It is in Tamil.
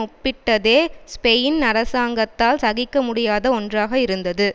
ஒப்பிட்டதே ஸ்பெயின் அரசாங்கத்தால் சகிக்க முடியாத ஒன்றாக இருந்தது